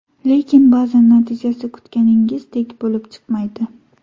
Lekin ba’zan natijasi kutganingizdek bo‘lib chiqmaydi.